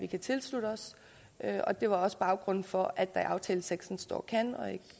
kan tilslutte os og det er også baggrunden for at der i aftaleteksten står kan og